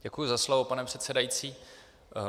Děkuji za slovo, pane předsedající.